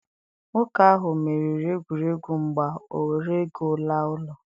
nwoke ahu meriri egwuregwu mgba, o were ego laa ulo.